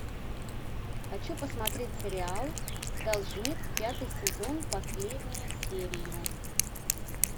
хочу посмотреть сериал должник пятый сезон последняя серия